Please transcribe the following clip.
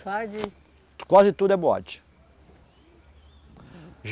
Só de. Quase tudo é boate.